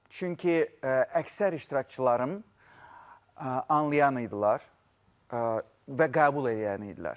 Çünki əksər iştirakçılarım anlayan idilər və qəbul eləyənlər idilər.